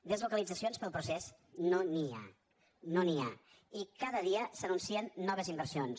deslocalitzacions pel procés no n’hi ha no n’hi ha i cada dia s’anuncien noves inversions